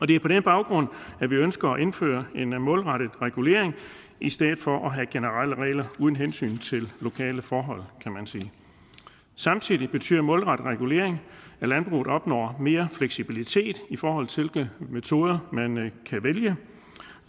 det er på den baggrund at vi ønsker at indføre en målrettet regulering i stedet for at have generelle regler uden hensyn til lokale forhold kan man sige samtidig betyder målrettet regulering at landbruget opnår mere fleksibilitet i forhold til hvilke metoder man kan vælge